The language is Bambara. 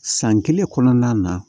San kelen kɔnɔna na